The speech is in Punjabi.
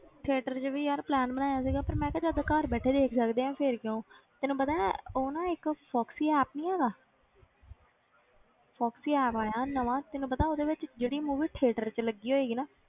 Theater 'ਚ ਵੀ ਯਾਰ plan ਬਣਾਇਆ ਸੀਗਾ ਪਰ ਮੈਂ ਕਿਹਾ ਜਦੋਂ ਘਰ ਬੈਠੇ ਦੇਖ ਸਕਦੇ ਹਾਂ ਫਿਰ ਕਿਉਂ ਤੈਨੂੰ ਪਤਾ ਹੈ ਉਹ ਨਾ ਇੱਕ ਫੋਕਸੀ app ਨੀ ਹੈਗਾ ਫੋਕਸੀ app ਆਇਆ ਨਵਾਂ ਤੈਨੂੰ ਪਤਾ ਉਹਦੇ ਵਿੱਚ ਜਿਹੜੀ movie theater 'ਚ ਲੱਗੀ ਹੋਏਗੀ ਨਾ,